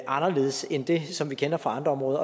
anderledes end den som vi kender fra andre områder